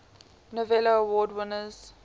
novello award winners